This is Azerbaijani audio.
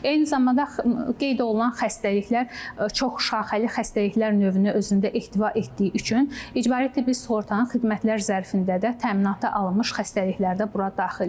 Eyni zamanda qeyd olunan xəstəliklər çoxşaxəli xəstəliklər növünü özündə ehtiva etdiyi üçün icbari tibbi sığortanın xidmətlər zərfində də təminata alınmış xəstəliklər də bura daxildir.